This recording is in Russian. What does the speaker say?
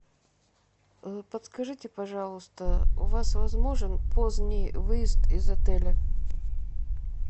подскажите пожалуйста у вас возможен поздний выезд из отеля